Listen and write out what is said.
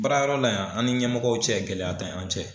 Baarayɔrɔ la yan an ni ɲɛmɔgɔw cɛ gɛlɛya tɛ an cɛ.